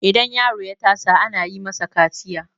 idan yaro ya tasa ana yi masa kaciya